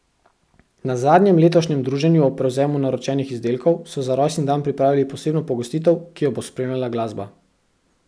Na zadnjem letošnjem druženju ob prevzemu naročenih izdelkov so za rojstni dan pripravili posebno pogostitev, ki jo bo spremljala glasba.